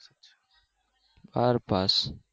બાર pass